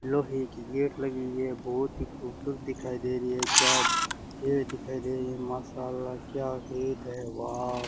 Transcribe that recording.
लोहे की गेट लगी हुई है बहोत ही खूबसूरत दिखाई दे रही है क्या गेट दिखाई दे रही है माशाल्लाह क्या गेट है वाउ --